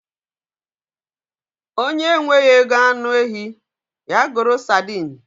Onye enweghị ego anụ ehi, ya goro sadin